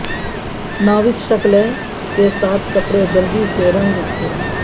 ناوس شکلیں کے ساتھ کپڑے جلدی سے رنگ کھو